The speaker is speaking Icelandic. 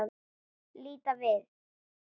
Líta við.